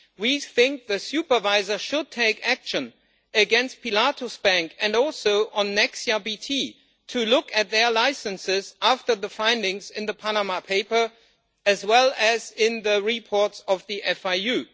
We think the supervisor should take action against Pilatus bank and next year BT, to look at their licenses after the findings in the Panama Papers as well as in the reports of the FIU.